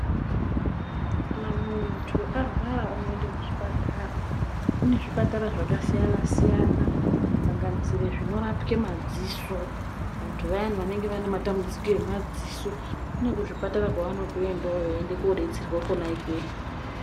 Kana muntu arwara unoenda kuchipatara zvakasiyana siyana kusanganisire zvinorapwe madziso vantu vayana vanenge vane matambudziko emadziso kune kuzvipatara kwavanotoendawo veienda kobetserwa kona ikweyo.